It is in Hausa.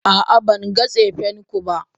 a'a, ban ga tsefenku ba.